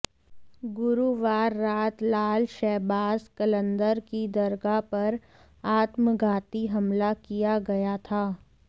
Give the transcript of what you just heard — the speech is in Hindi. गुरुवार रात लाल शहबाज कलंदर की दरगाह पर आत्मघाती हमला किया गया था